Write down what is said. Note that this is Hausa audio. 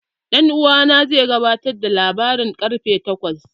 Dan uwana zai gabatar da labaran ƙarfe takwas.